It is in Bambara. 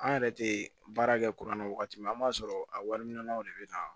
An yɛrɛ tɛ baara kɛ kuranna wagati min na an b'a sɔrɔ a wariminanw de bɛ na